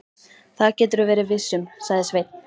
Það geturðu verið viss um, sagði Sveinn.